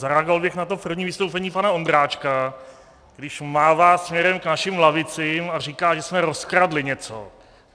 Zareagoval bych na to první vystoupení pana Ondráčka, když mává směrem k našim lavicím a říká, že jsme rozkradli něco.